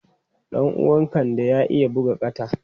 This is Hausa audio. Ɗan uwan Kande ya iya buga kata.